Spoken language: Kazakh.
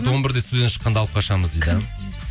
он бірде студиядан шыққанда алып қашамыз дейді